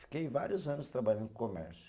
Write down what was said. Fiquei vários anos trabalhando com comércio.